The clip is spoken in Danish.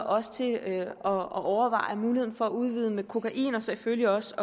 også til at overveje muligheden for at udvide med kokain og selvfølgelig også